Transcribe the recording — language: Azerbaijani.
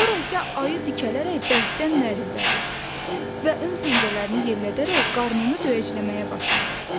Sonra isə ayı dikələrək bərkdən nərildədi və ön pəncələrini yellədərək qarnını döyəcləməyə başladı.